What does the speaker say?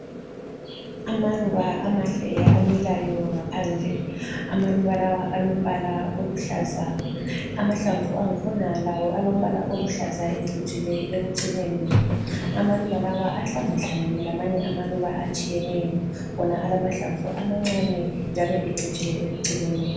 Amaluba amahle amilayo ngaphandle amaluba lawa alombala oluhlaza, amahlamvu angikhona lawo alombala oluhlaza ecjile ekucineni. Amaluba lawa ahlanga- hlangene lamanye amaluba atshiyeneyo wona alamahlamvu amancane njalo ecijile ekucineni.